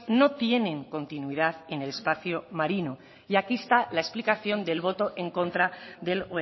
no tienen continuidad en el espacio marino y aquí está la explicación del voto en contra del